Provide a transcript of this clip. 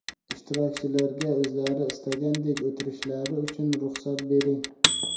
Ishtirokchilarga o‘zlari istagandek o‘tirishlari uchun ruxsat bering.